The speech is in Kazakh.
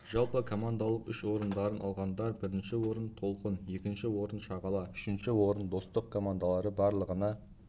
жалпы командалық үш орындарын алғандар бірінші орын толқын екінші орын шағала үшінші орын достық командалары барлығына